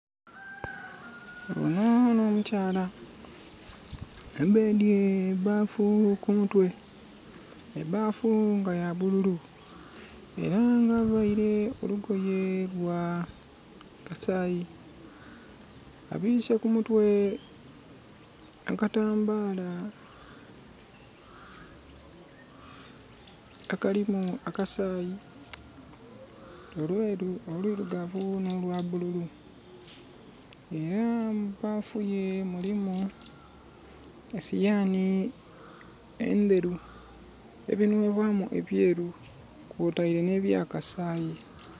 Ono n'omukyala abedye ebaafu ku mutwe. Ebaafu nga ya bululu. Era nga availe olugoye lwa kasayi. Abiise ku mutwe akatambala akalimu akasayi, olwelu, olwilugavu, n'olwabululu. Era mu baafu ye mulimu e siyaani endheru, ebinwebwaamu ebyeeru kwotaire n'ebya kasayi.